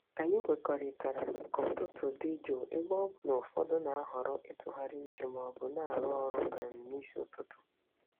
Anyị kwetara ka ụtụtụ dị jụụ ebe ọ bụ na ụfọdụ na-ahọrọ ịtụgharị uche ma ọ bụ na-arụ ọrụ um n'isi ụtụtụ.